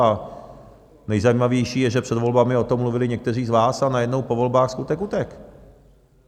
A nejzajímavější je, že před volbami o tom mluvili někteří z vás, a najednou po volbách skutek utek.